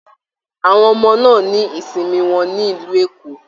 Àwọn ọmọ náà ní ìsinmi wọn nílu Eko